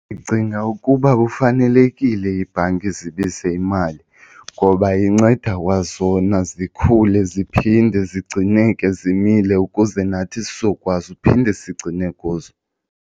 Ndicinga ukuba kufanelekile iibhanki zibize imali ngoba inceda kwazona zikhule ziphinde zigcineke zimile ukuze nathi sizokwazi uphinde sigcine kuzo.